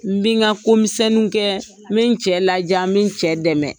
N bi n ka ko misɛnninw kɛ, n bi n cɛ ladiya, n bi cɛ dɛmɛ.